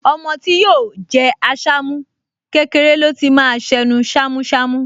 Ọmọ tí yóò jẹ́ Àṣàmú, kékeré ló ti máa ṣ’ẹnu ṣámúṣamú